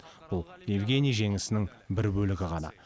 бұл евгений жеңісінің бір бөлігі ғана